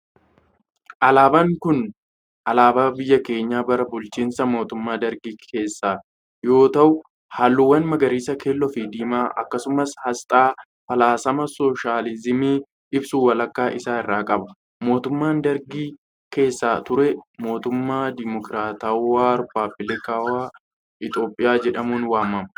Alaabaan kun alaabaa biyya keenya bara bulchiinsa mootummaa dargii keessaa yoo ta'u, haalluuwwan magariisa, keelloo fi diimaa akkasumas asxaa faalasama sooshaalizimii ibsu walakkaa isaa irraa qaba. Mootummaan dargii keessa ture, mootummaa demokiraatawaa, rippaabilikawaa Itoophiyaa jedhamuun waamama.